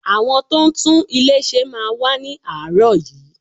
Àwọn tó ń tún ilé ṣe máa wá ni aarọ yìí.